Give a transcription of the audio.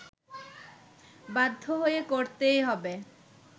বাধ্য হয়ে করতেই হবে